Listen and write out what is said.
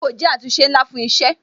Àgbéyẹ̀wò jẹ́ àtúnṣe ńlá fún isẹ